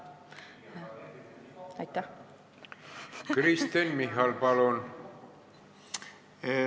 Kristen Michal, palun!